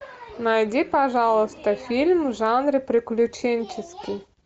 найди пожалуйста фильм в жанре приключенческий